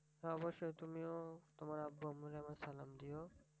হ্যাঁ অব্যশই তুমিও তোমার আব্বু আম্মুকে আমার সালাম দিও